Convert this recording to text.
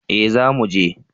eh za mu je